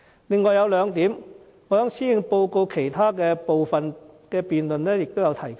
此外，有兩點我在施政報告其他辯論環節中也有提及。